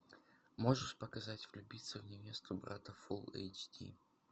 можешь показать влюбиться в невесту брата фул эйч ди